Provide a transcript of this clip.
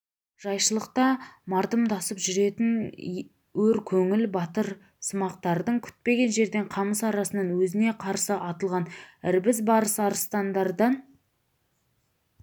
жайшылықта мардамсып жүретін өр көңіл батырсымақтардың күтпеген жерден қамыс арасынан өзіне қарсы атылған ірбіз барыс арыстандардан